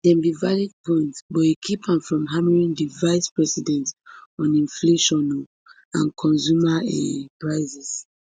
dem be valid points but e keep am from hammering di vicepresident on inflation um and consumer um prices